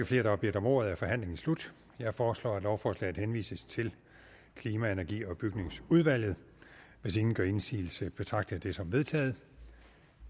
flere der har bedt om ordet er forhandlingen slut jeg foreslår at lovforslaget henvises til klima energi og bygningsudvalget hvis ingen gør indsigelse betragter jeg det som vedtaget